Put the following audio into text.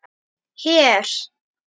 Hér?